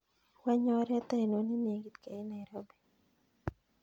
Wany oret ainon nenekit keit nairobi